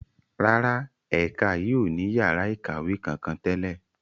Rárá, ẹ̀ka yìí ó ní yàrá ikawe kankan tẹ́lẹ̀.